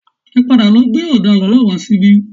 Ẹ padà lọ gbé ọdaràn náà wá síbí